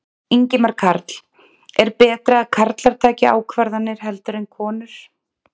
Ingimar Karl: Er betra að karlar taki ákvarðanir heldur en konur?